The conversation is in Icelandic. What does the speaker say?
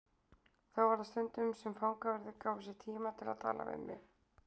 Þá var það stundum sem fangaverðir gáfu sér tíma til að tala við mig.